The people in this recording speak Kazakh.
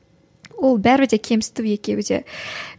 ол бәрібір де кемсіту екеуі де